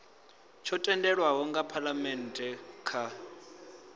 tsho tendelwaho nga phalamennde kha